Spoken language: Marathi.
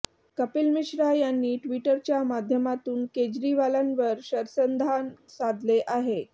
कपिल मिश्रा यांनी ट्विटरच्या माध्यमातून केजरीवालांवर शरसंधान साधले आहे